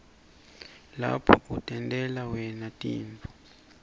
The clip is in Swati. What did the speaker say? lapho utentela wna tinifo